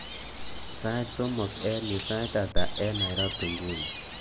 Sait somok eng nyu, sait ata eng Nairobi nguni